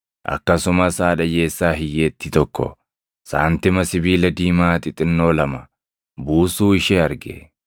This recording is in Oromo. Akkasumas haadha hiyyeessaa hiyyeettii tokko saantima sibiila diimaa xixinnoo lama buusuu ishee arge.